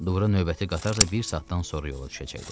Dura növbəti qatar da bir saatdan sonra yola düşəcəkdi.